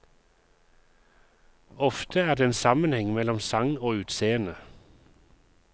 Ofte er det en sammenheng mellom sang og utseende.